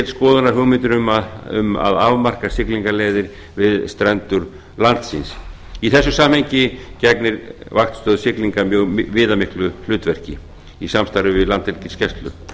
skoðunar hugmyndir um að afmarka siglingaleiðir við strendur landsins í þessu samhengi gegnir vaktstöð siglinga mjög viðamiklu hlutverki í samstarfi við landhelgisgæslu